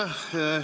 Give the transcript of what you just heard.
Aitäh!